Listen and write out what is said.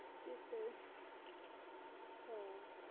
এর সেই হ্যাঁ